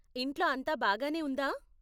ఇంట్లో అంతా బాగానే ఉందా ?